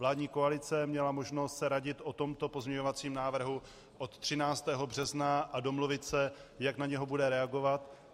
Vládní koalice měla možnost se radit o tomto pozměňovacím návrhu od 13. března a domluvit se, jak na něj bude reagovat.